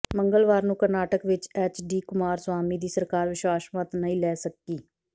ਮੰਗਲਵਾਰ ਨੂੰ ਕਰਨਾਟਕ ਵਿੱਚ ਐਚ ਡੀ ਕੁਮਾਰਸਵਾਮੀ ਦੀ ਸਰਕਾਰ ਵਿਸ਼ਵਾਸ ਮਤ ਨਹੀਂ ਲੈ ਸਕੀ